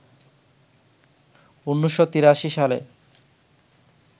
১৯৮৩ সালে